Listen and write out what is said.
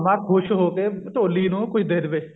ਕੁਛ ਹੋ ਕੇ ਢੋਲੀ ਨੂੰ ਕੁਛ ਦੇ ਦਵੇ